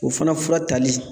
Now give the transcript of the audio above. O fana fura tali.